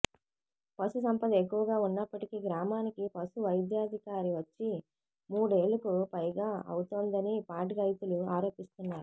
పశుసంపద ఎక్కువగా ఉన్నప్పటికీ గ్రామానికి పశువైద్యాధికారి వచ్చి మూడేళ్లుకు పైగా అవుతోందని పాడిరైతులు ఆరోపిస్తున్నారు